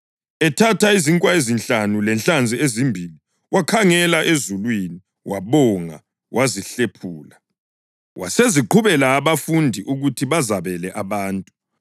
Ethatha izinkwa ezinhlanu lenhlanzi ezimbili wakhangela ezulwini, wabonga wazihlephula. Waseziqhubela abafundi ukuba bazabele abantu.